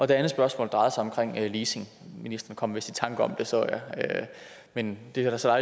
det andet spørgsmål drejede sig om leasing ministeren kom vist i tanker om det så jeg men det er der så